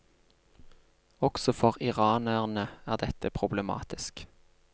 Også for iranerne er dette problematisk.